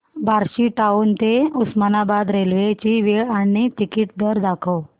Barshi town ते Osmanabad railway ची वेळ आणि तिकीट दर दाखव